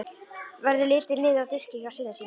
Verður litið niður á diskinn hjá syni sínum.